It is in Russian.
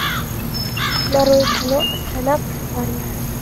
нарой кино астронавт фармер